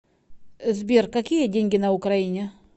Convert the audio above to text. сбер какие деньги на украине